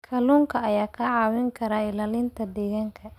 Kalluunka ayaa kaa caawin kara ilaalinta deegaanka.